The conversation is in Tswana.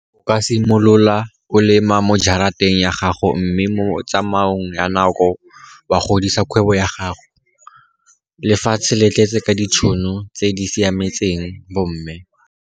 O ka simolola o lema mo jarateng ya gago mme mo tsamaong ya nako wa godisa kgwebo ya gago. Lefatshe le tletse ka ditšhono tse di siametseng bomme.